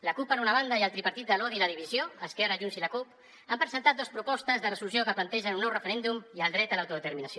la cup per una banda i el tripartit de l’odi i la divisió esquerra junts i la cup han presentat dos propostes de resolució que plantegen un nou referèndum i el dret a l’autodeterminació